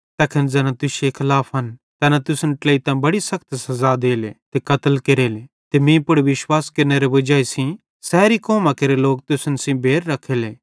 तैखन ज़ैना तुश्शे खलाफन तैना तुसन ट्लेइतां बड़ी सखत सज़ा देले ते कत्ल केरेले ते मीं पुड़ विश्वास केरनेरे वजाई सेइं सैरी कौमां केरे लोक तुसन सेइं बैर रखेले